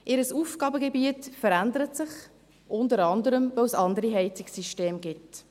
Ihr Aufgabengebiet verändert sich, unter anderem, weil es andere Heizungssysteme gibt.